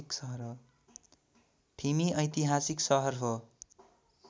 ठिमी ऐतिहासिक सहर हो